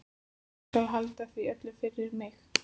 Ég skal halda því öllu fyrir mig.